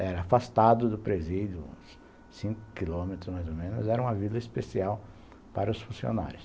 Era afastado do presídio, uns cinco quilômetros mais ou menos, era uma vila especial para os funcionários.